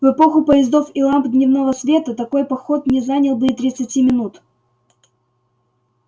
в эпоху поездов и ламп дневного света такой поход не занял бы и тридцати минут